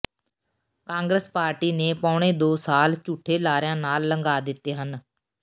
Congress party ਨੇ ਪੌਣੇ ਦੋ ਸਾਲ ਝੂਠੇ ਲਾਰਿਆਂ ਨਾਲ ਲੰਘਾ ਦਿੱਤੇ ਹਨ